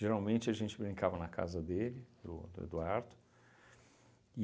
Geralmente, a gente brincava na casa dele, do do Eduardo.